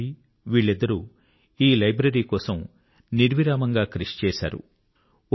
చిన్నతంబి వీళ్ళిద్దరూ ఈ లైబ్రరీ కోసం నిర్విరామంగా కృషి చేశారు